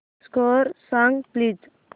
score सांग please